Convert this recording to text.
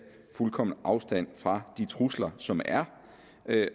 fuldkommen afstand fra de trusler som er